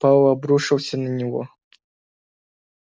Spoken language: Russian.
пауэлл обрушился на него